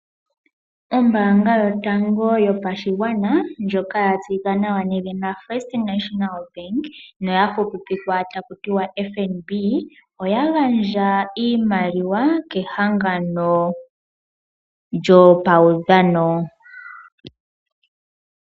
Ombaanga yotango yopashigwana ndjoka yatseyika nawa nedhina First National Bank noya fupipikwa takutiwa FNB oya gandja iimaliwa kehangano lyopaudhano.